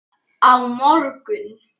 Á morgun